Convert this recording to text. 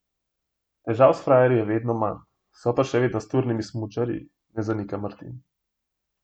Težav s frajerji je vedno manj, so pa še vedno s turnimi smučarji, ne zanika Martin.